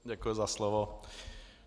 Děkuji za slovo.